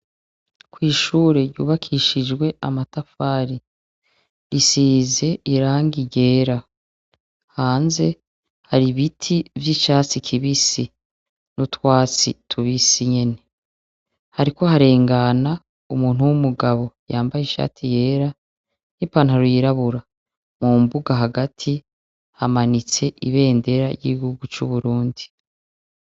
Kw'ishure ryubakishijwe amatafari risize irangi ryera, hanze hari ibiti vy'icatsi kibisi n'utwatsi tubisi nyene hariko harengana umuntu w'umugabo yambaye ishati yera n'ipantaro yirabura, mu mbuga hagati hamanitse ibendera ry'igihugu c'Uburundi.